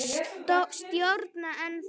Stjórna ennþá.